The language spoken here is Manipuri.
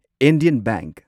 Indian bank